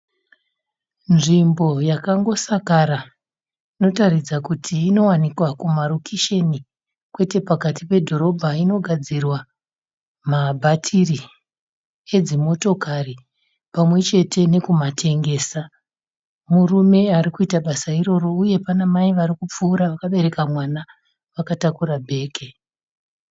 Nzvimbo yakangosakara. Inotaridza kuti inowanikwa kuma rokesheni kwete pakati pedhorobha. Inogadzirwa mabhatiri edzimotokari pamwechete nekumatengesa. Murume arikuita basa iroro uye pana mai varikupfuura vakabereka mwana vakatakura bhegi.